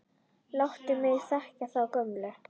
Láttu mig þekkja þá gömlu!